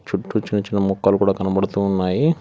చుట్టూ చిన్నచిన్న మొక్కలు కూడా కనబడుతూ ఉన్నాయి.